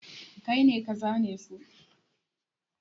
Kai ne ka zane su?